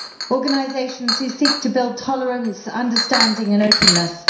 organisations who seek to build tolerance, understanding and openness.